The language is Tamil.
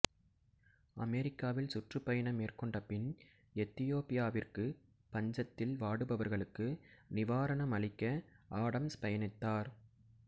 அமெரிக்காவில் சுற்றுப்பயணம் மேற்கொண்ட பின் எத்தியோப்பியாவிற்கு பஞ்சத்தில் வாடுபவர்களுக்கு நிவாரணம் அளிக்க ஆடம்ஸ் பயணித்தார்